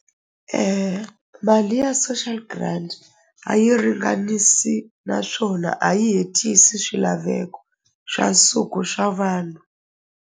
Mali ya social grant a yi ringanisi naswona a yi hetisi swilaveko xa nsuku swa vanhu.